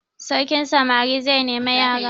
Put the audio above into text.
Sarkin samari zai nemi yara.